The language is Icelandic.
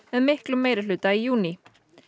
með miklum meirihluta í júní